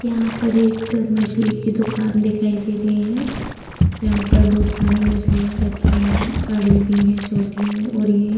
यहाँ पर एक मछली की दुकान दिखाई दे रही है जहाँ पर बहुत सारी मछलियाँ रखी हैं पड़ी भी हैं छोटी है और ये --